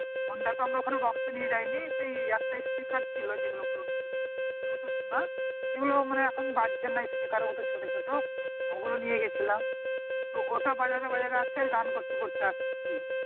honda তে আমরা ওখানে box তো নিয়ে যায় নি সেই একটা speaker ছিল যে গুলো buletooth এর bluetooth না যে গুলো এখন বাজছে না speaker মতন ছোটো ছোটো ওগুলো নিয়ে গিয়েছিলাম তো ওটা বাজাতে বাজাতে আর সেই গান করতে করতে আসছি